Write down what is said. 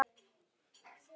Lifa lífinu!